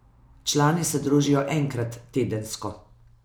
Člani se družijo enkrat tedensko.